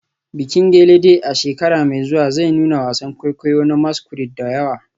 Bikin gelede a shekara mai zuwa zai nuna wasan kwaikwayo na masquerade da yawa.